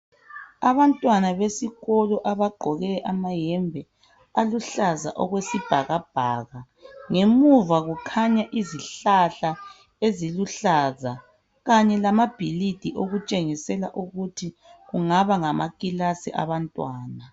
Abantwana besikolo abagqkoke amahembe aluhlaza okwesibhakabhaka. Ngemuva kukhanya izihlahla eziluhlaza Kanye lezakhiwo okutshengisela kungaba ngamakilasi abantwana.